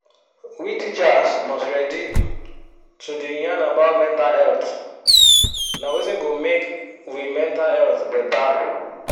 we teachers must ready to the yan about mental health na wetin go make we mental health better